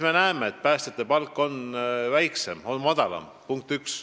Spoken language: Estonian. Me näeme, et päästjate palk on väiksem, on madalam.